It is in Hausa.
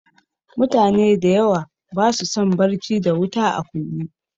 Mutane dayawa basu son barci da wuta a kunne